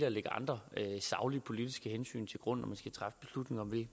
at lægge andre saglige politiske hensyn til grund når